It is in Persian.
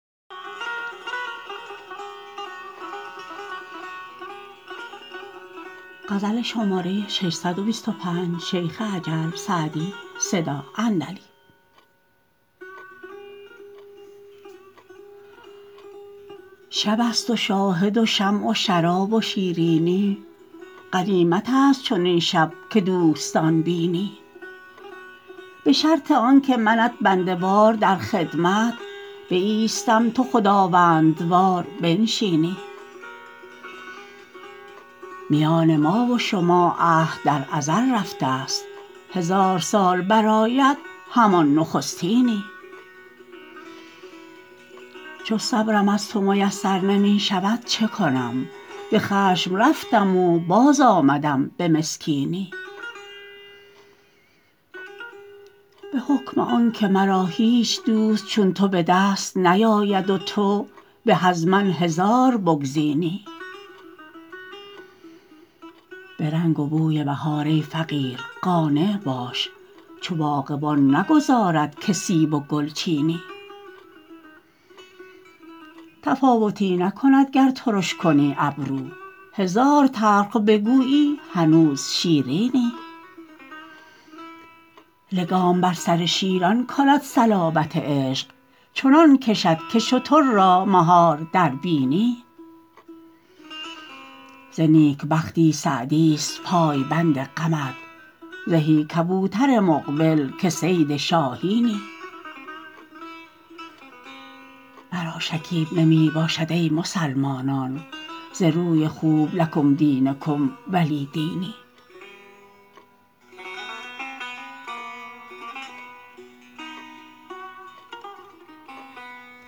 شب است و شاهد و شمع و شراب و شیرینی غنیمت است چنین شب که دوستان بینی به شرط آن که منت بنده وار در خدمت بایستم تو خداوندوار بنشینی میان ما و شما عهد در ازل رفته ست هزار سال برآید همان نخستینی چو صبرم از تو میسر نمی شود چه کنم به خشم رفتم و باز آمدم به مسکینی به حکم آن که مرا هیچ دوست چون تو به دست نیاید و تو به از من هزار بگزینی به رنگ و بوی بهار ای فقیر قانع باش چو باغبان نگذارد که سیب و گل چینی تفاوتی نکند گر ترش کنی ابرو هزار تلخ بگویی هنوز شیرینی لگام بر سر شیران کند صلابت عشق چنان کشد که شتر را مهار در بینی ز نیک بختی سعدی ست پایبند غمت زهی کبوتر مقبل که صید شاهینی مرا شکیب نمی باشد ای مسلمانان ز روی خوب لکم دینکم ولی دینی